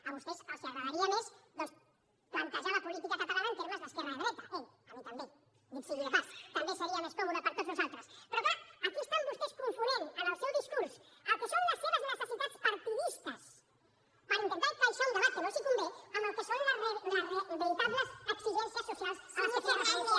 a vostès els agradaria més doncs plantejar la política catalana en termes d’esquerra dreta ei a mi també dit sigui de pas també seria més còmode per a tots nosaltres però clar aquí estan vostès confonent en el seu discurs el que són les seves necessitats partidistes per intentar encaixar hi un debat que no els convé amb el que són les veritables exigències socials a les que feia referència